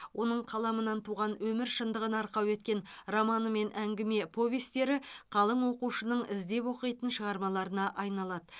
оның қаламынан туған өмір шындығын арқау еткен романы мен әңгіме повестері қалың оқушының іздеп оқитын шығармаларына айналады